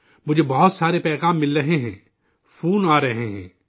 مجھے بہت سارے پیغام مل رہے ہیں، فون آ رہے ہیں